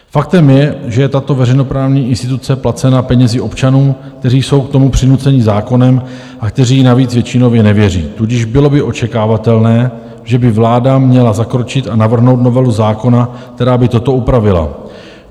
Faktem je, že je tato veřejnoprávní instituce placena penězi občanů, kteří jsou k tomu přinuceni zákonem a kteří jí navíc většinově nevěří, tudíž bylo by očekávatelné, že by vláda měla zakročit a navrhnout novelu zákona, která by toto upravila.